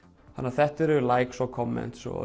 þannig þetta eru likes og